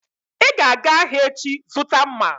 Ị ga-aga ahịa echi zụta mma!